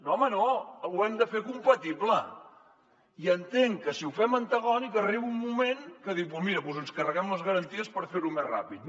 no home no ho hem de fer compatible i entenc que si ho fem antagònic arriba un moment que dius mira doncs ens carreguem les garanties per fer ho més ràpid